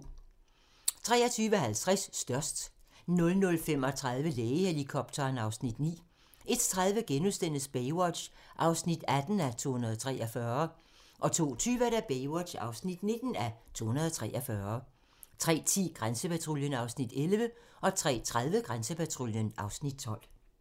23:50: Størst 00:35: Lægehelikopteren (Afs. 9) 01:30: Baywatch (18:243)* 02:20: Baywatch (19:243) 03:10: Grænsepatruljen (Afs. 11) 03:30: Grænsepatruljen (Afs. 12)